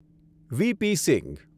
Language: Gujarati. વી.પી. સિંઘ